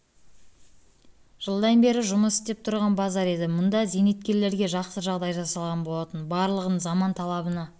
жылдан бері жұмыс істеп тұрған базар еді мұнда зейнеткерлерге жақсы жағдай жасалған болатын барлығын заман талабына